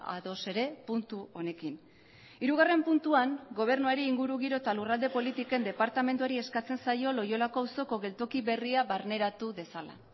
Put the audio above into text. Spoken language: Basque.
ados ere puntu honekin hirugarren puntuan gobernuari ingurugiro eta lurralde politiken departamentuari eskatzen zaio loiolako auzoko geltoki berria barneratu dezala